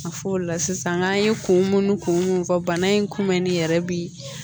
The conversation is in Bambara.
A fɔ o la sisan n'an ye kun mun ni kun mun fɔ bana in kunbɛnni yɛrɛ bi